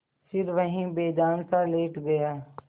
फिर वहीं बेजानसा लेट गया